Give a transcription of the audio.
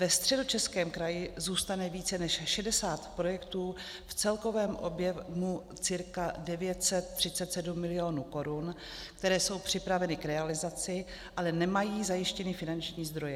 Ve Středočeském kraji zůstane více než 60 projektů v celkovém objemu cca 937 milionů korun, které jsou připraveny k realizaci, ale nemají zajištěny finanční zdroje.